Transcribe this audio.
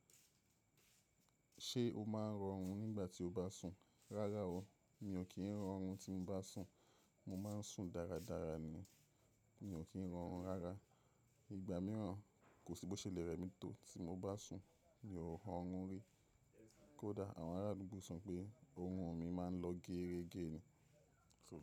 Ṣé o máa ń rọrún nígbà tí o bá sùn? Rárá o, mi ò kí ń rọrún tí mo bá sùn. Mo máa ń sùn dáradára ni, mi ò kí ń rọrún rárá. Ìgbà mìíràn, kò sí bó ṣe lè rẹ mi tó tí mo bá sùn, mi ò rọrún rí. Kódà àwọn ará àdúgbò sọ pé orun mi máa ń lọ geere gẹ́ẹ́ ni.